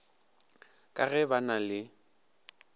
ka ge ba na le